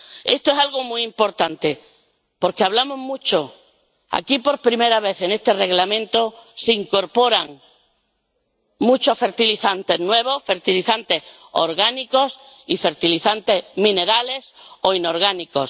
Esto es algo muy importante porque, por primera vez, en este Reglamento se incorporan muchos fertilizantes nuevos fertilizantes orgánicos y fertilizantes minerales o inorgánicos.